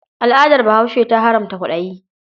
Al'adar Bahaushe ta haramta kwaɗayi.